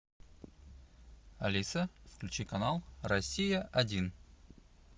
алиса включи канал россия один